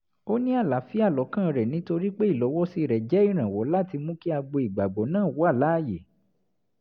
ó ní àlààfíà lọ́kàn rẹ̀ nítorí pé ìlọ̀wọ́sí rẹ̀ jẹ́ ìrànwọ́ láti mú kí agbo ìgbàgbọ́ náà wà láàyè